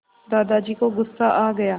दादाजी को गुस्सा आ गया